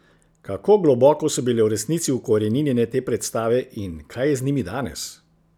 Kako globoko so bile v resnici vkoreninjene te predstave in kaj je z njimi danes?